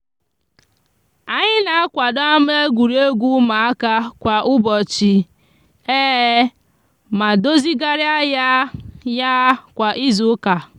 anyi n'akwado ama egwuruegwu umuaka kwa ubochi ma dozigaria ya ya kwa izuuka.